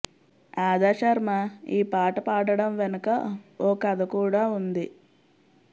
అదా శర్మ ఈ పాట పాడడం వెనక ఓ కథ కూడా ఉంది